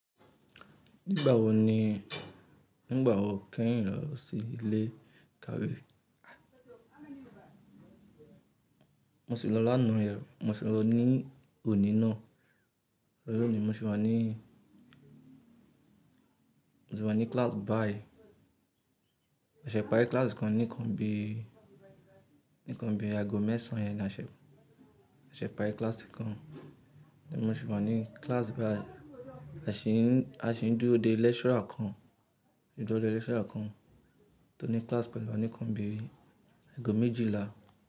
Nígbà wo ni, nígbà wo kẹ̀yin lọ sí ilé ìkàwé? Mo sì lọ la naa yẹn, mo sì lọ ní òní náà. Lónìí mo sì wà ní, mo sì wà ní class báyi. A ṣẹ̀ pá rí class kan nìkan bí, nìkan bí aago mẹ́sàn-án yẹn a ṣẹ̀, a ṣẹ̀ pá rí class kan. Mo sì wà ní class báyi A ṣì ń, a ṣì ń dúró de lecturer kan, ṣì ń dúró de lecturer kan tó ní class pẹ̀lú wa nìkan bí aago méjìlá.